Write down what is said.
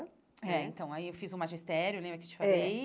É, então, aí eu fiz o magistério né, lembra que te falei?